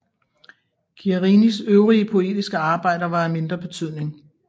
Guarinis øvrige poetiske arbejder var af mindre betydning